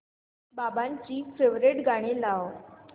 बाबांची फेवरिट गाणी लाव